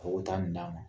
Ka o taa nin d'a ma